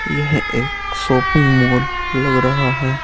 यह एक shopping mall लग रहा है।